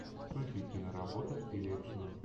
включи киноработу в стиле экшена